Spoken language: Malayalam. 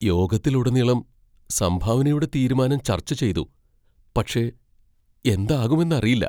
യോഗത്തിലുടനീളം സംഭാവനയുടെ തീരുമാനം ചർച്ച ചെയ്തു, പക്ഷെ എന്താകുമെന്നറിയില്ല.